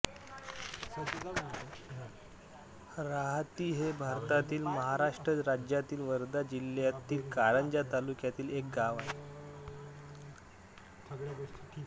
राहाती हे भारतातील महाराष्ट्र राज्यातील वर्धा जिल्ह्यातील कारंजा तालुक्यातील एक गाव आहे